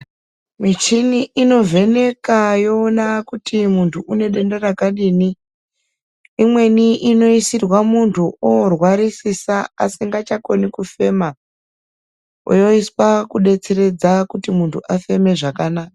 Michina inovheneka yoona kuti muntu unedenda rakadini. Imweni inoisirwa muntu oorwarisisa asingachakoni kufema, yoiswa kudetseredza kuti muntu afeme zvakana...